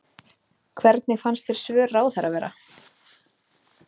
Hvernig fannst þér svör ráðherra vera?